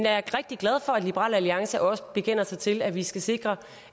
er rigtig glad for at liberal alliance også bekender sig til at vi skal sikre